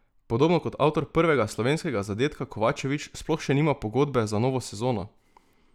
Podobno kot avtor prvega slovenskega zadetka Kovačevič sploh še nima pogodbe za novo sezono!